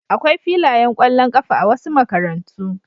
Akwai filayen ƙwallon ƙafa a wasu makarantu.